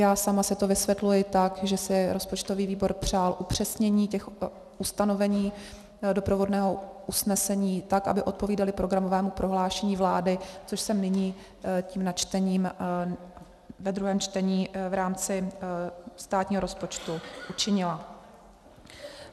Já sama si to vysvětluji tak, že si rozpočtový výbor přál upřesnění těch ustanovení doprovodného usnesení tak, aby odpovídala programovému prohlášení vlády, což jsem nyní tím načtením ve druhém čtení v rámci státního rozpočtu učinila.